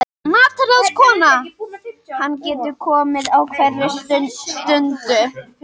MATRÁÐSKONA: Hann getur komið á hverri stundu.